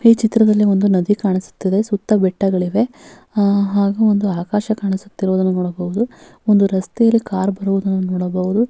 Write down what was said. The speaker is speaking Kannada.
ಈ ಚಿತ್ರದಲ್ಲಿ ಒಂದು ನದಿ ಕಾಣಿಸುತ್ತಿದೆ ಸುತ್ತ ಬೆಟ್ಟಗಳಿವೆ ಹಾ ಹಾಗು ಒಂದು ಆಕಾಶ ಕಾಣಿಸುತ್ತಿರುವುದನ್ನು ನೋಡಬಹುದು ಒಂದು ರಸ್ತೆಯಲ್ಲಿ ಕಾರ್ ಬರುವುದನ್ನು ನೋಡಬಹುದು.